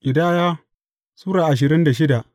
Ƙidaya Sura ashirin da shida